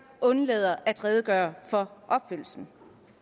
undlader at redegøre for opfyldelsen